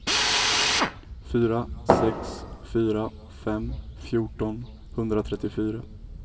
fyra sex fyra fem fjorton etthundratrettiofyra